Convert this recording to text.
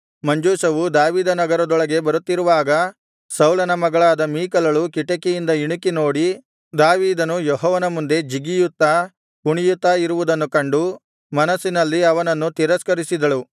ಮಂಜೂಷವು ದಾವೀದನಗರದೊಳಗೆ ಬರುತ್ತಿರುವಾಗ ಸೌಲನ ಮಗಳಾದ ಮೀಕಲಳು ಕಿಟಿಕಿಯಿಂದ ಇಣಿಕಿ ನೋಡಿ ದಾವೀದನು ಯೆಹೋವನ ಮುಂದೆ ಜಿಗಿಯುತ್ತಾ ಕುಣಿಯುತ್ತಾ ಇರುವುದನ್ನು ಕಂಡು ಮನಸ್ಸಿನಲ್ಲಿ ಅವನನ್ನು ತಿರಸ್ಕರಿಸಿದಳು